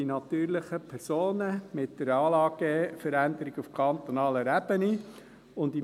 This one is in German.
Dies will man mit der Anlageveränderung auf kantonaler Ebene quasi an die natürlichen Personen zurückverteilen.